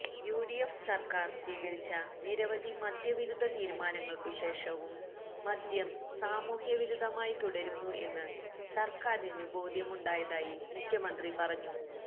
UDF സർക്കാർ സ്വീകരിച്ച നിരവധി മദ്യവിരുദ്ധ തീരുമാനങ്ങൾക്കു ശേഷവും മദ്യം സാമൂഹ്യവിരുദ്ധമായി തുടരുന്നു എന്ന് സർക്കാരിനു ബോധ്യമുണ്ടായതായി മുഖ്യമന്ത്രി പറഞ്ഞു